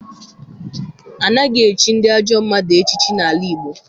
Anaghị echi ndị ajọ mmadụ echiche n'ala Igbo.